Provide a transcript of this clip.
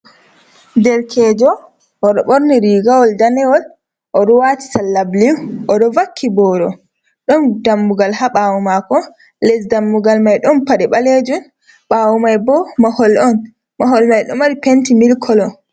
Derkejo oɗo ɓorni rigawol danewol, oɗo wati salla bulu odo vakki boro ɗon dammugal ha ɓawo mako les dammugal mai ɗon pade ɓalejum ɓawo mai bo mahol on, mahol mai ɗo mari penti milik kolo.